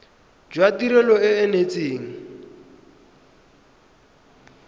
jwa tirelo e e neetsweng